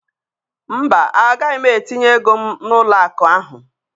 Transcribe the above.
mba, agaghị m etinye ego m n'ụlọ akụ ahụ